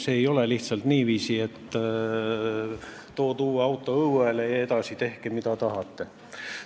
Sellega ei ole lihtsalt niiviisi, et tood uue auto õuele ja edasi tehke, mis tahate.